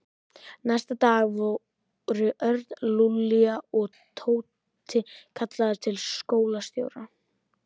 Næsta dag voru Örn, Lúlli og Tóti kallaðir til skólastjóra.